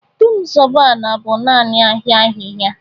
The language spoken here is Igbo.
Du m zoba ala bu naanị aha ahịhịa.